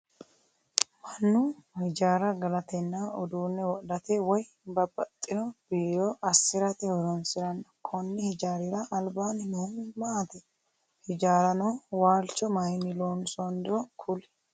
Mannu hijaara galatenna uduune wodhate woyi babbaxino biiro asirate horoonsirano konni hijaarira albaanni noohu maati? Hijaarano waalcho mayinni loonsoonniro kuli